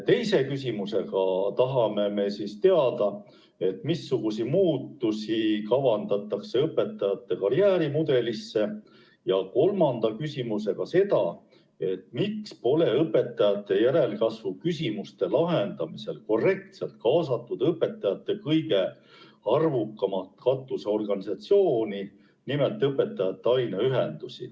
Teise küsimusega tahame teada, missuguseid muudatusi kavandatakse õpetajate karjäärimudelisse, ja kolmanda küsimusega seda, miks pole õpetajate järelkasvu küsimuste lahendamisel korrektselt kaasatud õpetajate kõige arvukamat katusorganisatsiooni, nimelt õpetajate aineühendusi.